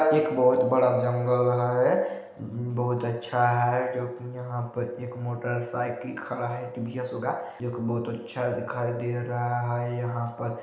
एक बहोत बड़ा जंगल है ब-ब-बहोत अच्छा है जो की यहाँ पर एक मोटर साइकिल खड़ा है टी_वी_ एस होगा एक बहोत अच्छा दिखाई दे रहा है यहाँ पर--